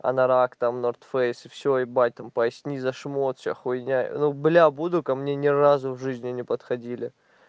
анорак там норд фейс все ебать там поясни за шмот вся хуйня ну бля буду ко мне ни разу в жизни не подходили